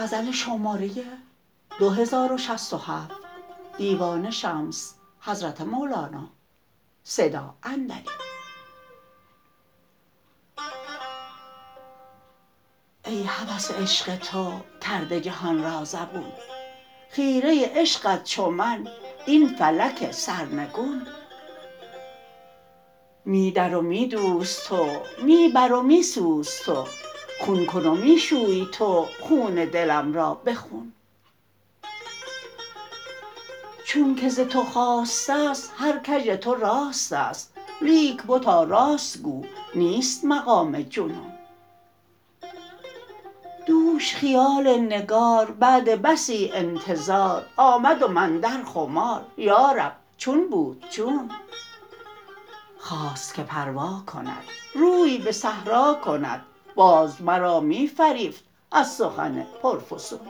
ای هوس عشق تو کرده جهان را زبون خیره عشقت چو من این فلک سرنگون می در و می دوز تو می بر و می سوز تو خون کن و می شوی تو خون دلم را به خون چونک ز تو خاسته ست هر کژ تو راست است لیک بتا راست گو نیست مقام جنون دوش خیال نگار بعد بسی انتظار آمد و من در خمار یا رب چون بود چون خواست که پر واکند روی به صحرا کند باز مرا می فریفت از سخن پرفسون